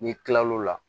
N'i kilal'o la